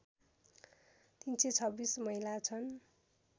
३२६ महिला छन्